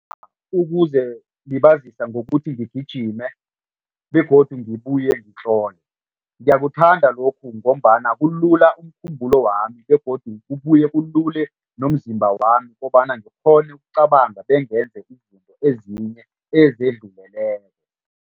Ukuzelibazisa ngokuthi ngigijime begodu ngibuye ngitlole. Ngiyakuthanda lokhu ngombana kulula umkhumbulo wami begodu kubuye kulule nomzimba wami kobana ngikghone ukucabanga bengenze izinto ezinye ezidluleleko.